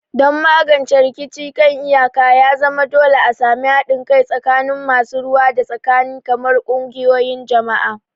Don magance rikicin kan iyaka, ya zama dole a sami haɗin kai tsakanin masu ruwa da tsaki kamar ƙungiyoyin jama'a.